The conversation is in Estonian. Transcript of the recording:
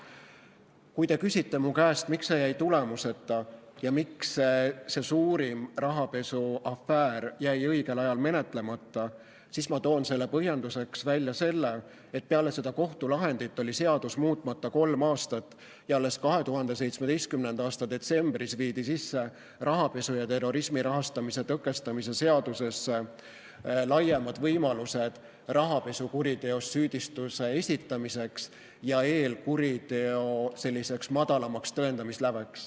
Kui te küsite minu käest, miks see jäi tulemuseta ja miks see suurim rahapesuafäär jäi õigel ajal menetlemata, siis ma toon põhjenduseks selle, et peale seda kohtulahendit oli seadus muutmata kolm aastat ja alles 2017. aasta detsembris viidi rahapesu ja terrorismi rahastamise tõkestamise seadusesse sisse laiemad võimalused rahapesukuriteos süüdistuse esitamiseks ja eelkuriteo madalamaks tõendamisläveks.